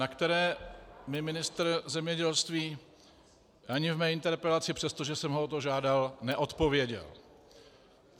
- na které mi ministr zemědělství ani v mé interpelaci, přestože jsem ho o to žádal, neodpověděl.